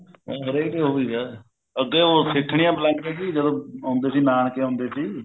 ਹਰੇਕ ਹੀ ਉਹੀ ਏ ਅੱਗੇ ਉਹ ਸਿੱਠਣੀਆਂ ਬੁਲਾਂਦੇ ਸੀ ਜਦੋਂ ਆਉਂਦੇ ਸੀ ਨਾਨਕੇ ਆਉਂਦੇ ਸੀ